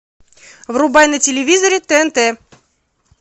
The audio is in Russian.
врубай на телевизоре тнт